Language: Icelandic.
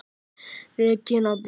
Regína Björk!